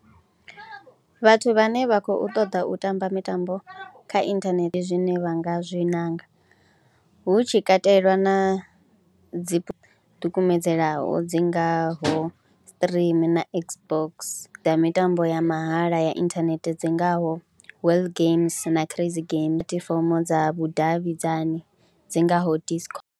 Vhathu vhane vha khou ṱoḓa u tamba mitambo kha inthanethe zwine vha nga zwi ṋanga hu tshi katelwa na dzi ḓikumedzelaho dzi ngaho stream na Xbox dza mitambo ya mahala ya inthanethe dzi ngaho Wale games na Crazy games puḽatifomo dza vhudavhidzani dzi ngaho Disco.